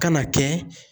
Ka na kɛ